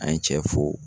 An ye cɛ fo